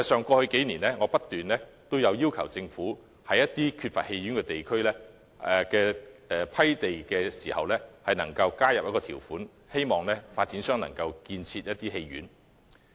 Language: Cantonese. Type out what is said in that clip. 過去數年，我不斷要求政府就缺乏戲院的地區批地時加入條款，希望發展商能開設戲院。